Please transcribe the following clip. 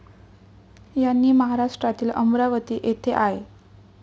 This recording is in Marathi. यांनी महाराष्ट्रातील अमरावती येथे आय.